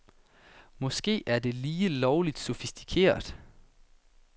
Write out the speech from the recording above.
Måske er det lige lovligt sofistikeret.